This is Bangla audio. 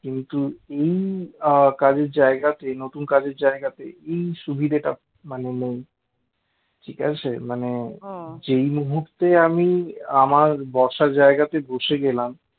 কিন্তু এই আহ কাজের জায়গাতে নতুন কাজের জায়গাতে এই সুবিধা টা মানে নেই ঠিক আছে মানে যেই মুহূর্তে আমি আমার বসার জায়গাতে বসে গেলাম